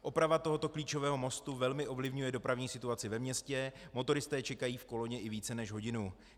Oprava tohoto klíčového mostu velmi ovlivňuje dopravní situaci ve městě, motoristé čekají v koloně i více než hodinu.